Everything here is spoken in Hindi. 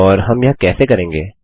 और हम यह कैसे करेंगे